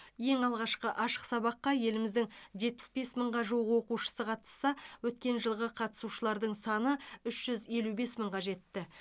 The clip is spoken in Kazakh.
ең алғашқы ашық сабаққа еліміздің жетпіс бес мыңға жуық оқушысы қатысса өткен жылғы қатысушылардың саны үш жүз елу бес мыңға жетті